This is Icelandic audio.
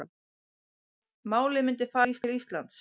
Málið myndi fara til Íslands